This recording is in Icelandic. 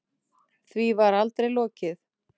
Því var aldrei lokið.